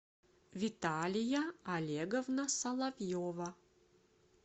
виталия олеговна соловьева